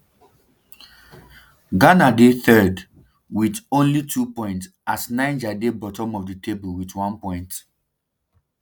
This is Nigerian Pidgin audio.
ghana dey third um wit wit only two points as niger dey bottom of di table wit one point